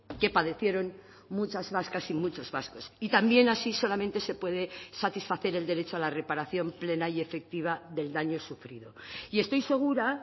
que padecieron muchas vascas y muchos vascos y también así solamente se puede satisfacer el derecho a la reparación plena y efectiva del daño sufrido y estoy segura